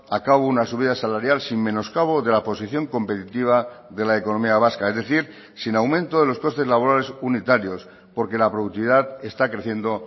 a cabo una subida salarial sin menoscabo de la posición competitiva de la economía vasca es decir sin aumento de los costes laborales unitarios porque la productividad está creciendo